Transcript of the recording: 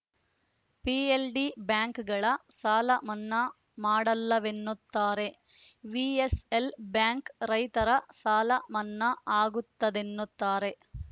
PLD ಬಾಂಕ್‌ಗಳ ಸಾಲ ಮನ್ನಾ ಮಾಡಲ್ಲವೆನ್ನುತ್ತಾರೆ ವಿಎಸ್‌ಎಲ್‌ ಬ್ಯಾಂಕ್‌ ರೈತರ ಸಾಲ ಮನ್ನಾ ಆಗುತ್ತದೆನ್ನುತ್ತಾರೆ